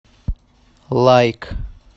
лайк